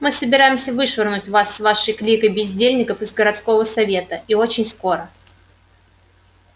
мы собираемся вышвырнуть вас с вашей кликой бездельников из городского совета и очень скоро